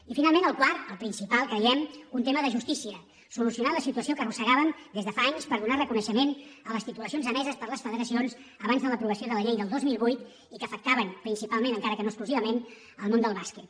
i finalment el quart el principal creiem un tema de justícia solucionar la solució que arrossegàvem des de fa anys per donar reconeixement a les titulacions emeses per les federacions abans de l’aprovació de la llei del dos mil vuit i que afectaven principalment encara que no exclusivament el món del bàsquet